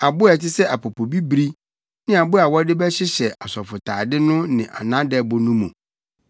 abo a ɛte sɛ apopobibiri ne abo a wɔde bɛhyehyɛ asɔfotade no ne nʼadɛbo no mu.